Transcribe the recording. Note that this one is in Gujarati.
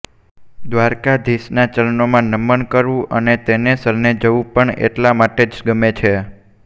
દ્વારકાધીશનાં ચરણોમાં નમન કરવું અને તેને શરણે જવું પણ એટલા માટે જ ગમે છે